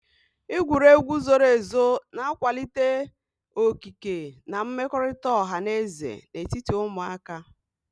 Igwuru egwu zoro ezo na-akwalite okike na mmekọrịta ọha na eze n'etiti ụmụaka.